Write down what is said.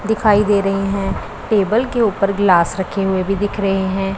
दिखाई दे रहीं हैं टेबल के ऊपर ग्लास रखे हुए भी दिख रहे हैं।